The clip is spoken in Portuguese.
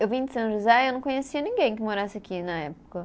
Eu vim de São José e eu não conhecia ninguém que morasse aqui na época.